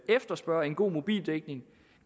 efterspørge en god mobildækning